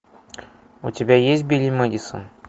у тебя есть билли мэдисон